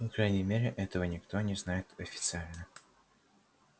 по крайней мере этого никто не знает официально